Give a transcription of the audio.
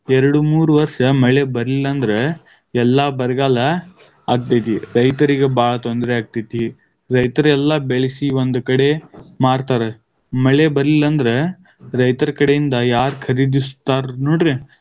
ಎರಡು ಮೂರು ವರ್ಷ ಮಳೆ ಬರಲಿಲ್ಲ ಅಂದ್ರ ಎಲ್ಲ, ಬರಗಾಲ ಆಗ್ತೈತಿ, ರೈತರಿಗ ಬಾಳ್ ತೊಂದರೆ ಆಗ್ತೈತಿ. ರೈತರ ಎಲ್ಲಾ ಬೆಳೆಸಿ, ಒಂದು ಕಡೆ ಮಾರ್ತಾರ. ಮಳೆ ಬರ್ಲಿಲ್ಲ ಅಂದ್ರ ರೈತರ ಕಡೆಯಿಂದ ಯಾರ ಖರೀದಿಸುತ್ತಾರ ನೋಡ್ರಿ.